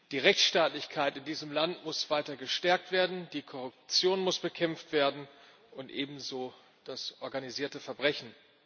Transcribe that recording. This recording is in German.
Die Rechtsstaatlichkeit in diesem Land muss weiter gestärkt werden, die Korruption muss bekämpft werden und ebenso das organisierte Verbrechen.